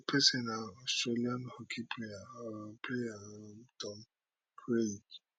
di pesin na australian hockey player um player um tom craig